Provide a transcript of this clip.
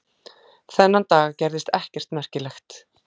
Þennan dag gerðist ekkert merkilegt.